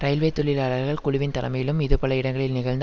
railway தொழிலாளர்கள் குழுவின் தலைமையிலும் இது பல இடங்களில் நிகழ்ந்து